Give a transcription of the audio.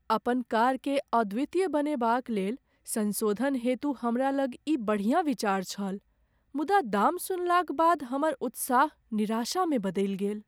अपन कारकेँ अद्वितीय बनेबाक लेल संशोधन हेतु हमरा लग ई बढ़िया विचार छल, मुदा दाम सुनलाक बाद हमर उत्साह निराशामे बदलि गेल।